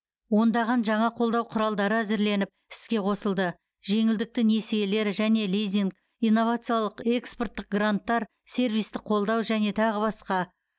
ондаған жаңа қолдау құралдары әзірленіп іске қосылды жеңілдікті несиелер және лизинг инновациялық экспорттық гранттар сервистік қолдау және тағы басқа